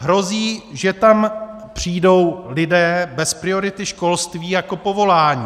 Hrozí, že tam přijdou lidé bez priority školství jako povolání.